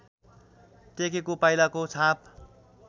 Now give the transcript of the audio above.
टेकेको पाइलाको छाप